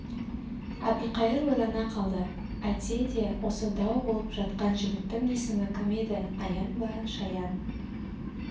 әбілқайыр ойлана қалды әйтсе де осы дау болып жатқан жігіттің есімі кім еді аян ба шаян